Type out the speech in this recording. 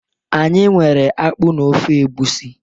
Anyi nwere akpu na ofe Egusi.